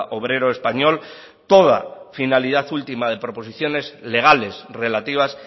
obrero español toda finalidad última de proposiciones legales relativas